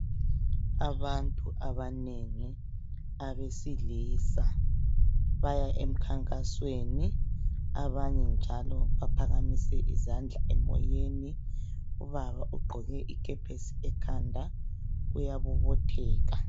Abantu abanengi, abesilisa baya emkhankasweni .Abanye njalo baphakamise izandla emoyeni, ubaba ugqoke ikepesi ekhanda uyabobotheka.